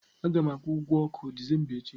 A ga m akwụ ụgwọ ọkụ Disemba echi.